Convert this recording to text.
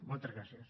moltes gràcies